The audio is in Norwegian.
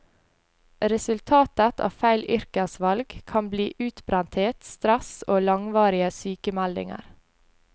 Resultatet av feil yrkesvalg kan bli utbrenthet, stress og langvarige sykemeldinger.